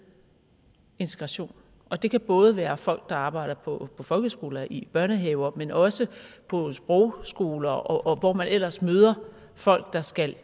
integration det kan både være folk der arbejder på folkeskoler i børnehaver men også på sprogskoler og hvor man ellers møder folk der skal